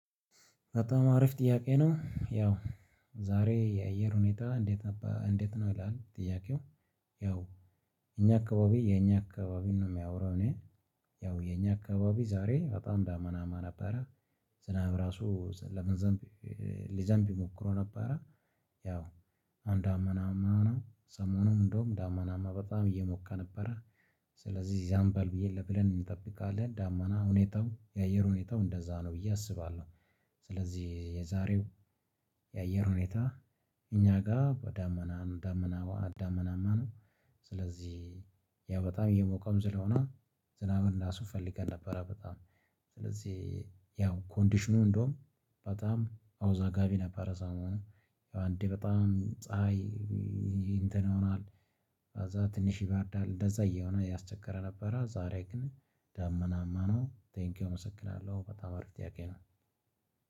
በጣም አሪፍ ጥያቄ ነው ያው ዛሬ የአየር ሁኔታ እንዴት ነው ይላል ጥያቄው? ያው እኛ አካባቢ የኛ አካባቢን ነው የማወራው። እኔ ያው የኛ አካባቢ ዛሬ በጣም ዳመናማ ነበረ። ዝናብ ራሱ ሊዘንብ ሞክሮ ነበረ። አሁን ዳመናማ ነው ሰሞኑን እንደውም ዳመናማ በጣም እየሞቀ ነበረ። ስለዚህ ይዘንባል ብዬ ብለን እንጠብቃለን ዳመና ሁኔታው የአየር ሁኔታው እንደዛ ነው ብዬ አስባለሁ። ስለዚህ የዛሬው የአየር ሁኔታ እኛ ጋር ዳመና ዳመና ዳመናማ ነው። ስለዚህ ያው በጣም እየሞቀም ስለሆነ ዝናብን ራሱ ፈልገን ነበረ በጣም ስለዚህ ያው ኮንዲሽኑ እንደውም በጣም አወዛጋቢ ነበረ። ሰሞኑን ያው አንዴ በጣም ፀሀይ እንትን ይሆናል። ከዛ ትንሽ ይበርዳል እንደዛ እየሆነ እያስቸገረ ነበረ። ዛሬ ግን ዳመናማ ነው። ቴንኪው አመሰግናለሁ በጣም አሪፍ ጥያቄ ነው።